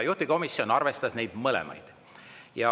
Juhtivkomisjon arvestas neid mõlemaid.